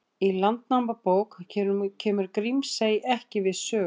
Í Landnámabók kemur Grímsey ekki við sögu.